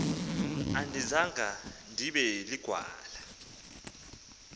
andizanga ndibe ligwala